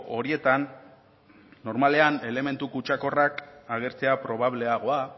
horietan normalean elementu kutsakorrak agertzea probableagoa